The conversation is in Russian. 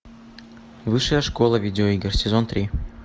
высшая школа видеоигр сезон три